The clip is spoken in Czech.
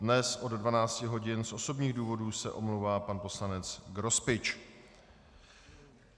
Dnes od 12 hodin z osobních důvodů se omlouvá pan poslanec Grospič.